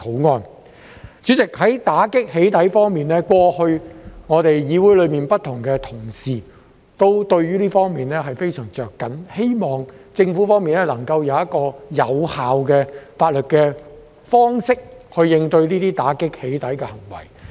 代理主席，在打擊"起底"方面，過去，議會內不同同事都非常着緊，希望政府方面能夠以有效的法律方式，應對、打擊這些"起底"行為。